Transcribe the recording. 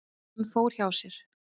Hann fór hjá sér.